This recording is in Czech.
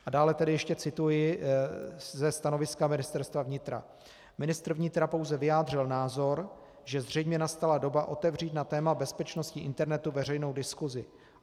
A dále tedy ještě cituji ze stanoviska Ministerstva vnitra: Ministr vnitra pouze vyjádřil názor, že zřejmě nastala doba otevřít na téma bezpečnosti internetu veřejnou diskusi.